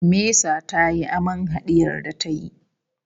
Mesa tayi aman hadiyar da ta yi